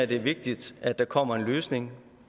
det er vigtigt at der kommer en løsning